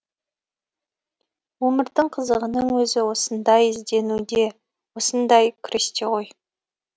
өмірдің қызығының өзі осындай ізденуде осындай күресте ғой